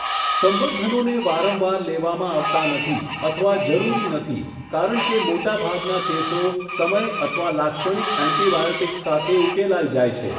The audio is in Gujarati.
સંવર્ધનનોને વારંવાર લેવામાં આવતા નથી અથવા જરૂરી નથી કારણ કે મોટાભાગના કેસો સમય અથવા લાક્ષણિક એન્ટિબાયોટિક્સ સાથે ઉકેલાઈ જાય છે.